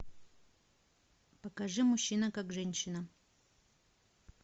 покажи мужчина как женщина